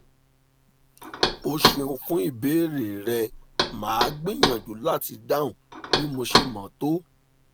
o ṣeun fún ìbéèrè rẹ màá gbìyànjú láti dáhùn bí mo ṣe mọ̀ tó